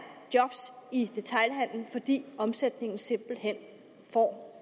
job i detailhandelen fordi omsætningen simpelt hen får